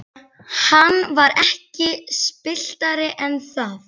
Hann var ekki spilltari en það.